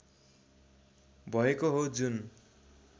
भएको हो जुन